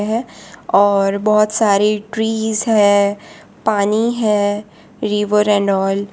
और बहुत सारी ट्री है पानी है रिवर एंड ऑल --